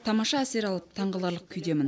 тамаша әсер алып таңғаларлық күйдемін